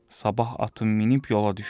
Sabah atın minib yola düşdü.